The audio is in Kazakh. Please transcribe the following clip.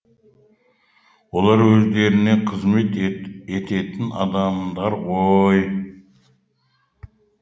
олар өздеріне қызмет ететін адамдар ғой